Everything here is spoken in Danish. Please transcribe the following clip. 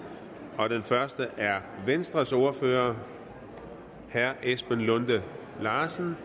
og den første er venstres ordfører herre esben lunde larsen